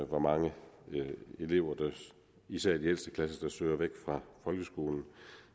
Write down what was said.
hvor mange elever især i de ældste klasser der søger væk fra folkeskolen